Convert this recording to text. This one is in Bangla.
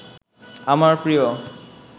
আমার প্রিয়